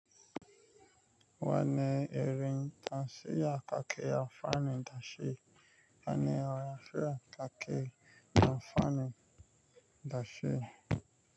Wa ni Erin Tafiya ka ke amfani da shi. Wa ni Yashiya ka ke amfani da shi.